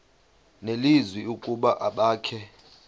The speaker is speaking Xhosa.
nelizwi ukuba abakhe